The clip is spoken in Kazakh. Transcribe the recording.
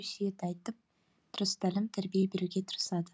өсиет айтып дұрыс тәлім тәрбие беруге тырысады